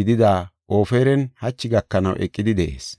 gidida Ofiran hachi gakanaw eqidi de7ees.